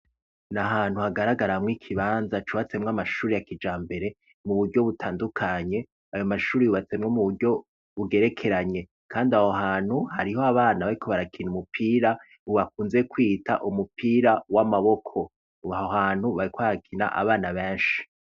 Nahantu hagaragaramwo ikibanza cubatsemwo amashuri ya kijambere mu buryo butandukanye. Ayo mashuri yubatswe mu buryo bugerekeranye kandi aho hantu hariho abana bariko barakina umupira bakunze kwita umupira w'amaboko aho hantu hariko harakina abana benshi.